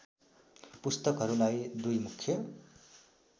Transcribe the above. पुस्तकहरूलाई दुई मुख्य